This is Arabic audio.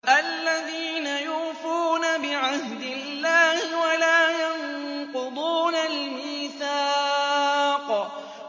الَّذِينَ يُوفُونَ بِعَهْدِ اللَّهِ وَلَا يَنقُضُونَ الْمِيثَاقَ